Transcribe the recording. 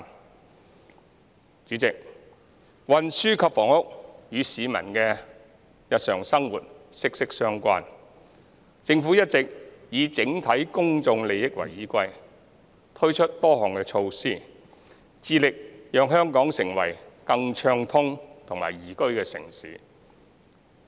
代理主席，運輸及房屋與市民的日常生活息息相關，政府一直以整體公眾利益為依歸，推出多項措施，致力讓香港成為更暢通和宜居的城市。